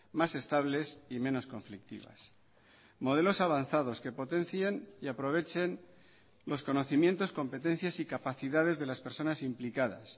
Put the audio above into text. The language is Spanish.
más estables y menos conflictivas modelos avanzados que potencien y aprovechen los conocimientos competencias y capacidades de las personas implicadas